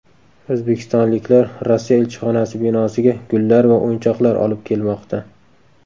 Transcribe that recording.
O‘zbekistonliklar Rossiya elchixonasi binosiga gullar va o‘yinchoqlar olib kelmoqda .